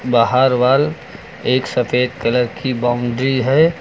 बाहर वॉल एक सफेद कलर की बाउंड्री है।